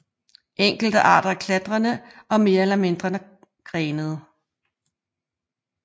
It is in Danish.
Enkelte arter er klatrende og mere eller mindre grenede